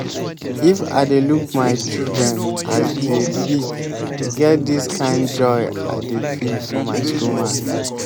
if i dey look my children as dey big e get dis kind joy i dey feel for my stomach